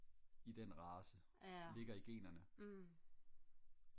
i den race ligger i generne